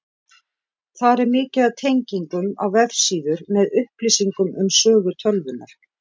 Þar er mikið af tengingum á vefsíður með upplýsingum um sögu tölvunnar.